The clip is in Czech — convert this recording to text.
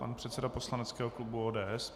Pan předseda poslaneckého klubu ODS.